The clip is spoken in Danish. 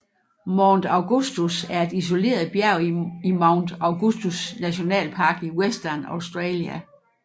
Mount Augustus er et isoleret bjerg i Mount Augustus National Park i Western Australia